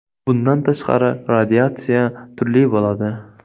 Bundan tashqari, radiatsiya turli bo‘ladi.